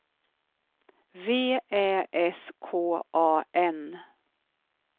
V Ä S K A N